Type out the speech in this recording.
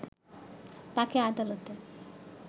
তাকে আদালতে